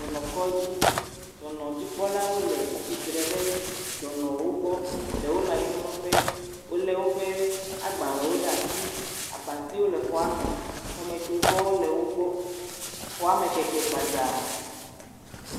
Dɔnɔkɔdzi, Dɔnɔdzikpɔlawo le atsitre ɖe dɔnɔwo gbɔ. Ɖewo le anyimlɔ ƒe. Wòle woƒe agbalẽwo ɖe asi. Abatiwo le xɔa me. Xɔmetsovɔwo le wògbɔ. Xɔame keke gbadzaa.